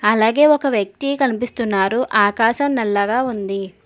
అలాగే ఒక వ్యక్తి కనిపిస్తున్నారు ఆకాశం నల్లగా ఉంది.